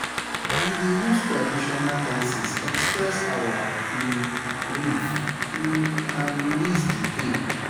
We dey use traditional dances express our um grief um and release di pain.